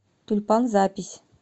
тюльпан запись